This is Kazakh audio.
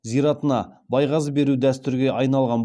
зиратына байғазы беру дәстүрге айналған